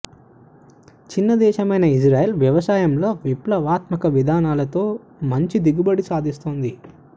చిన్న దేశమైన ఇజ్రాయిల్ వ్యవసాయంలో విప్లవాత్మక విధానాలతో మంచి దిగుబడి సాధిస్తోంది